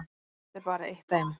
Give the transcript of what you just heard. Þetta er bara eitt dæmi.